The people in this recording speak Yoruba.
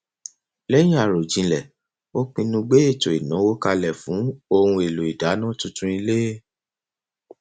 lẹyìn àròjinlẹ ó pinnu gbé ètò ìnáwó kalẹ fún ohun èlò ìdáná tuntun ilé